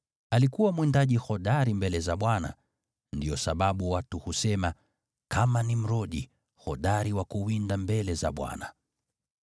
Alikuwa mwindaji hodari mbele za Bwana . Ndiyo sababu watu husema, “Kama Nimrodi, hodari wa kuwinda mbele za Bwana .”